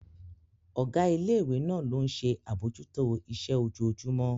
Ọ̀gá ilé ìwé náà ló ń ṣe àbójútó iṣẹ́ ojoojúmọ́